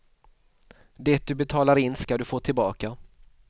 Det du betalar in skall du få tillbaka.